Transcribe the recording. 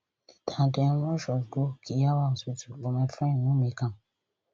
later dem rush us go kiyawa hospital but my friend no make am